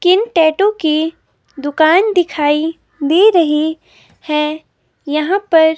किन टैटू की दुकान दिखाई दे रही हैं यहां पर--